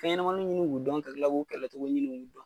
Fɛnɲɛnamani minnu kun bɛ don an fari la, u bɛ kɛlɛ cogo ɲini o la.